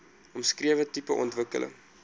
omskrewe tipe ontwikkeling